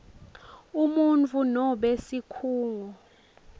umuntfu nobe sikhungo